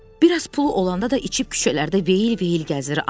Bir az pulu olanda da içib küçələrdə veyil-veyil gəzir.